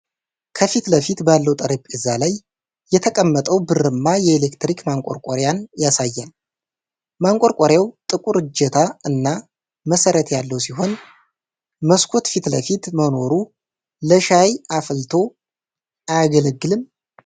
ከፊት ለፊት ባለው ጠረጴዛ ላይ የተቀመጠ ብርማ የኤሌክትሪክ ማንቆርቆሪያን ያሳያል፤ ማንቆርቆሪያው ጥቁር እጀታ እና መሰረት ያለው ሲሆን መስኮት ፊት ለፊት መኖሩ ለሻይ አፍልቶ አያገለግልም?